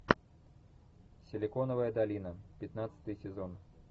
силиконовая долина пятнадцатый сезон